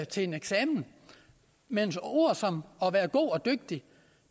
til en eksamen men ord som at være god og dygtig